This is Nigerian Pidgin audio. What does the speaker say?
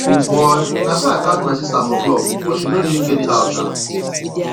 o boy na so i catch my sister for club but she no drink anyhow sha